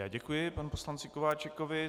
Já děkuji panu poslanci Kováčikovi.